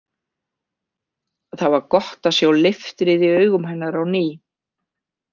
Það var gott að sjá leiftrið í augum hennar á ný.